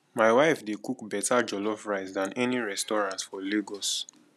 my wife dey cook better jollof rice than any restaurant for lagos